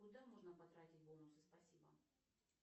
куда можно потратить бонусы спасибо